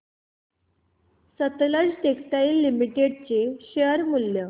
Sutlej textiles limited चे share मूल्य